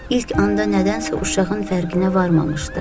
İlk anda nədənsə uşağın fərqinə varmamışdı.